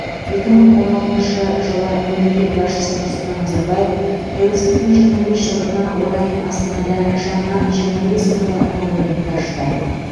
екі мың он алтыншы жылы мемлекет басшысы нұрсұлтан назарбаев тәуелсіздіктің жиырма бес жылдығына орай астанада жаңа жиырма бес қырлы монументті ашты